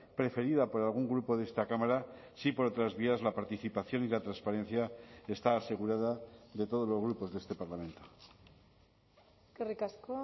preferida por algún grupo de esta cámara sí por otras vías la participación y la transparencia está asegurada de todos los grupos de este parlamento eskerrik asko